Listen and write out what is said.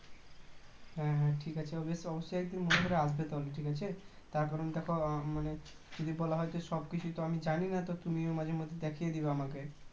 হ্যাঁ হ্যাঁ ঠিক আছে অব~ অবশ্যই মনে করে আসবে তাহলে ঠিক আছে তারকারণ দেখো মানে যদি বলা হয় সব কিছু তো আমি জানি না তুমি মাঝে মাঝে দেখিয়ে দেবে আমাকে